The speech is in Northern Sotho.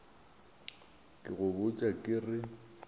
ke go botša ke re